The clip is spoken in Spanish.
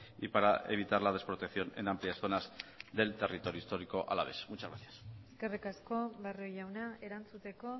y para evitar la desprotección en amplias zonas del territorio histórico alavés muchas gracias eskerrik asko barrio jauna erantzuteko